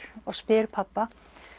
og spyr pabba